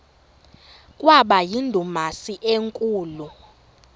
kwaba yindumasi enkulu